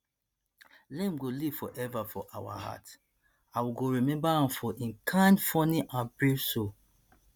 liam go live forever for our heart and and we go remember am for im kind funny and brave soul